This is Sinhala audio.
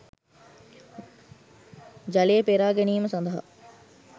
ජලය පෙරා ගැනීම සඳහා